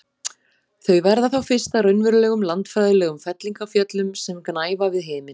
Þau verða þá fyrst að raunverulegum landfræðilegum fellingafjöllum sem gnæfa við himin.